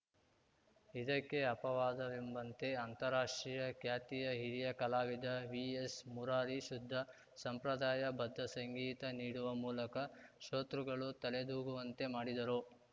ಇದಕ್ಕೆ ಅಪವಾದವೆಂಬಂತೆ ಅಂತಾರಾಷ್ಟ್ರೀಯ ಖ್ಯಾತಿಯ ಹಿರಿಯ ಕಲಾವಿದ ವಿಎಸ್‌ ಮುರಾರಿ ಶುದ್ಧ ಸಂಪ್ರದಾಯ ಬದ್ದ ಸಂಗೀತ ನೀಡುವ ಮೂಲಕ ಶ್ರೋತೃಗಳು ತಲೆದೂಗುವಂತೆ ಮಾಡಿದರು